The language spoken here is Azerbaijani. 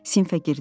Sinifə girdik.